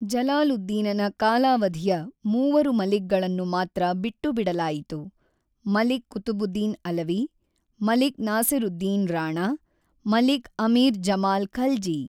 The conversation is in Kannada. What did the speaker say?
ಜಲಾಲುದ್ದೀನನ ಕಾಲಾವಧಿಯ ಮೂವರು ಮಲಿಕ್‌ಗಳನ್ನು ಮಾತ್ರ ಬಿಟ್ಟು ಬಿಡಲಾಯಿತು ಮಲಿಕ್ ಕುತುಬುದ್ದೀನ್ ಅಲವಿ, ಮಲಿಕ್ ನಾಸೀರುದ್ದೀನ್ ರಾಣಾ, ಮಲಿಕ್ ಅಮೀರ್ ಜಮಾಲ್ ಖಲ್ಜಿ.